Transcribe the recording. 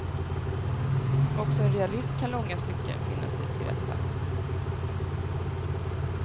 Också en realist kan långa stycken finna sig till rätta.